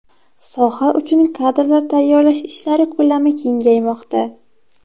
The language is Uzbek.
Soha uchun kadrlar tayyorlash ishlari ko‘lami kengaymoqda.